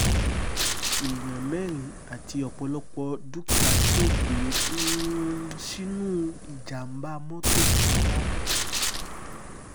èèyàn mẹ́rin àti ọ̀pọ̀lọpọ̀ dúkìá ṣègbè um sínú ìjàm̀bá mọ́tò nìbàdàn